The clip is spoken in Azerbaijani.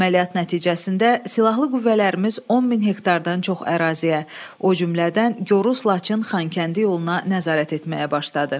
Əməliyyat nəticəsində silahlı qüvvələrimiz 10 min hektardan çox əraziyə, o cümlədən Qoruz-Laçın-Xankəndi yoluna nəzarət etməyə başladı.